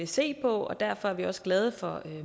se på derfor er vi også glade for